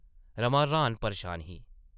रमा रहान -परेशान ही ।